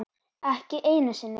Ekki einu sinni